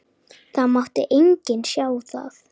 Það mátti enginn sjá það.